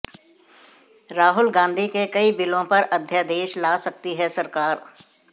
राहुल गांधी के कई बिलों पर अध्यादेश ला सकती है सरकार